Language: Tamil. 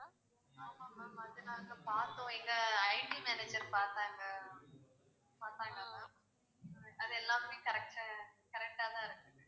ஆமா ma'am அது நாங்க பார்த்தோம் எங்க IT manager பார்த்தாங்க பார்த்தாங்க ma'am அது எல்லாமே correct ஆ correct டா தான் இருக்குது